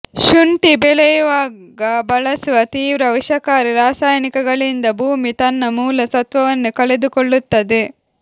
ಶುಂಠಿ ಬೆಳೆಯುವಾಗ ಬಳಸುವ ತೀವ್ರ ವಿಷಕಾರಿ ರಾಸಾಯನಿಕಗಳಿಂದ ಭೂಮಿ ತನ್ನ ಮೂಲ ಸತ್ವವನ್ನೇ ಕಳೆದುಕೊಳ್ಳುತ್ತದೆ